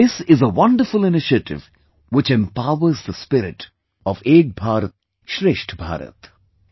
This is a wonderful initiative which empowers the spirit of 'Ek BharatShreshtha Bharat'